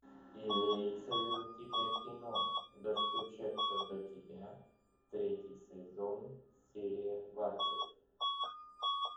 имеется ли у тебя кино достучаться до тебя третий сезон серия двадцать